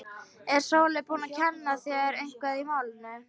Er Sóley búin að kenna þér eitthvað í málinu?